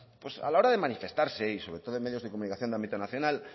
pues a la hora de manifestarse y sobre todo en medios de comunicación de ámbito nacional